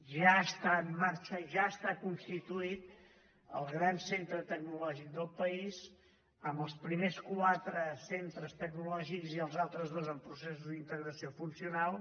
ja està en marxa ja està constituït el gran centre tecnològic del país amb els primers quatre centres tecnològics i els altres dos amb processos d’integració funcional